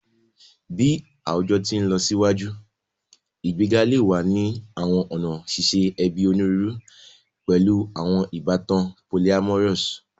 Bi awujọ ti nlọsiwaju, igbega le wa ni awọn ọna ṣiṣe ẹbi oniruuru, pẹlu awọn ibatan polyamorous